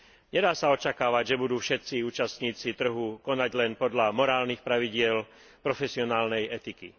Nedá sa očakávať, že budú všetci účastníci trhu konať len podľa morálnych pravidiel profesionálnej etiky.